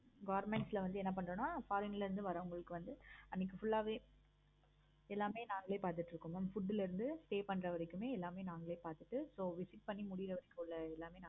foreign ல வந்து என்ன பண்ணுவோம்னா foreign ல இருந்து வர எல்லாருக்கும் எல்லாமே நாங்களே பார்த்துட்டு இருக்கோம். mam food ல இருந்து pay பண்ற வரைக்கும் எல்லாமே நாங்களே பார்த்துட்டு so visit பண்ணி முடிறதுக்குள்ள எல்லாமே